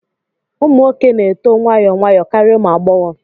Ụmụ nwoke na-eto nwayọọ nwayọọ karịa ụmụ agbọghọ